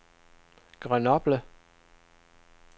Grenoble